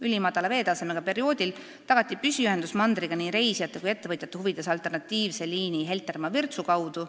Ülimadala veetasemega perioodil tagati püsiühendus mandriga nii reisijate kui ka ettevõtjate huvides alternatiivse liini Heltermaa–Virtsu kaudu.